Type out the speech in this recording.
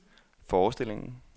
forestillingen